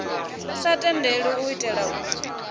sa tendelwi u itela uri